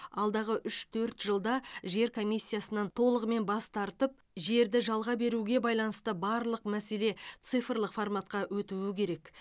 алдағы үш төрт жылда жер комиссиясынан толығымен бас тартып жерді жалға беруге байланысты барлық мәселе цифрлық форматқа өтуі керек